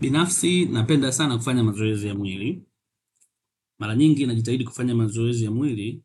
Binafsi, napenda sana kufanya mazoezi ya mwili. Mara nyingi najitahidi kufanya mazoezi ya mwili